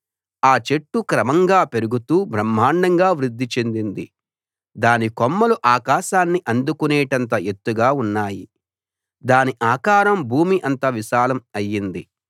ఆ చెట్టు క్రమంగా పెరుగుతూ బ్రహ్మాండంగా వృద్ది చెందింది దాని కొమ్మలు ఆకాశాన్ని అందుకునేటంత ఎత్తుగా ఉన్నాయి దాని ఆకారం భూమి అంత విశాలం అయ్యింది